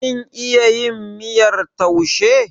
Kin iya yin miyar taushe?